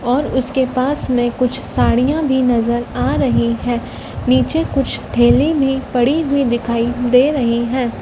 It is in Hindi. और उसके पास में कुछ साड़ियाँ भी नज़र आ रही हैं नीचे कुछ थैली भी पड़ी हुई दिखाइ दे रही हैं।